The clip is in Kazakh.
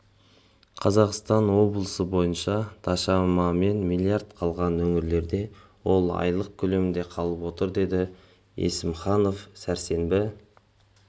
қазақстан облысы бойынша дашамамен миллиард қалған өңірлерде ол айлық көлемде қалып отыр деді есімханов сәрсенбі